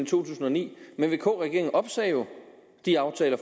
tusind og ni men vk regeringen opsagde jo de aftaler